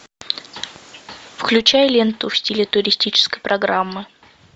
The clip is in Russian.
включай ленту в стиле туристической программы